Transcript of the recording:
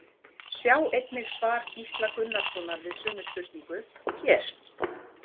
Sjá einnig svar Gísla Gunnarssonar við sömu spurningu, hér.